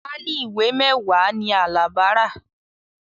Páálí ìwé mẹ́wàá ni Alabi rà